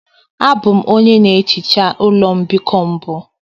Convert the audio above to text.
Abụ m onye na-ehicha ụlọ mbikọ mbụ.